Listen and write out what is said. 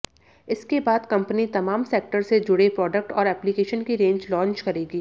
इसके बाद कंपनी तमाम सेक्टर से जुड़े प्रोडक्ट और एप्लीकेशन की रेंज लॉन्च करेगी